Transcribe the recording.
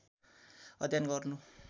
अध्ययन गर्नु